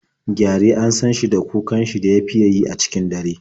Gyare an san shi da kukan shi da ya fiya yi a cikin dare.